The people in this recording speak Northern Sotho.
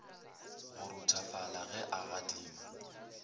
go ruthofala ge a gadima